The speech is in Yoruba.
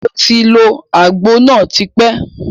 Moti lo àgbo náà tí pẹ́.